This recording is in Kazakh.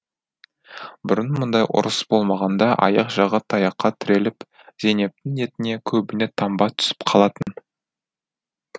бұрын мұндай ұрыс болмағанда аяқ жағы таяққа тіреліп зейнептің етіне көбіне таңба түсіп қалатын